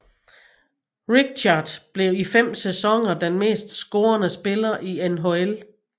Richard blev i fem sæsoner den mest scorende spiller i NHL